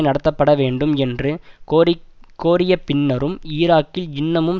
நடத்தப்பட வேண்டும் என்று கோரிக் கோரிய பின்னரும் ஈராக்கில் இன்னமும்